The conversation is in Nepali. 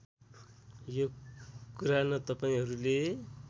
यो कुरा न तपाईँहरूले